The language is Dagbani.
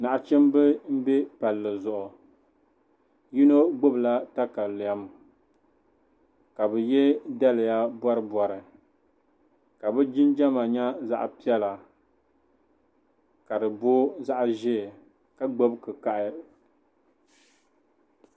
Nachimba m-be palli zuɣu bɛ yino gbubila takalem ka bɛ ye daliya bɔribɔri ka bɛ jinjama nyɛ zaɣ'piɛla ka di bo zaɣ'ʒee ka gbubi kikahi.